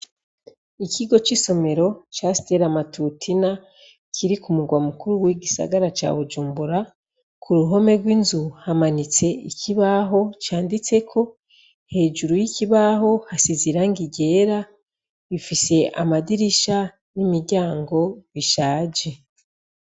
Ikigo c'isomero ca steli amatutina kiri ku murwa mukuru w'igisagara cawujumbura ku ruhome rw'inzu hamanitse ikibaho canditseko hejuru y'ikibaho hasiziranga igera bifise amadirisha n'imiryango bishaje.